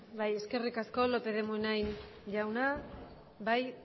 bai eskerrik asko lópez de munain jauna bai